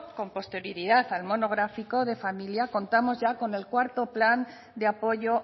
con posterioridad al monográfico de familia contamos ya con el cuarto plan de apoyo